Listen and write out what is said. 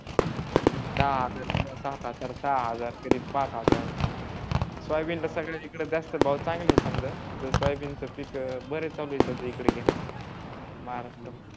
दहा हजार किंवा सात हजार सहा हजार कधी पाच हजार सोयाबीनला सगळ्यात जास्त इकडे भाव जास्त आहे समजा तर सोयाबीनचा पीक बर आहे तस इकडं घेणं घेतात अह